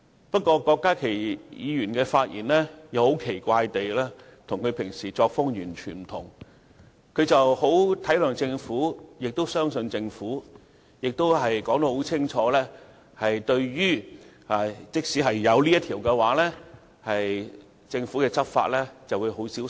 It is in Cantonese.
不過，郭家麒議員今天的發言很奇怪地與他平時的發言全然不同，他十分體諒亦相信政府，清楚指出即使通過《條例草案》，政府在執法的時候也會很小心。